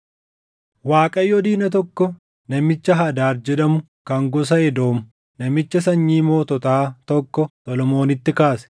Waaqayyo diina tokko namicha Hadaad jedhamu kan gosa Edoom namicha sanyii moototaa tokko Solomoonitti kaase.